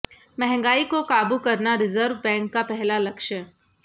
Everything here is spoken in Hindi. महंगाई को काबू करना रिजर्व बैंक का पहला लक्ष्य